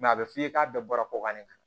a bɛ f'i ye k'a bɛɛ bɔra kɔkan ne ka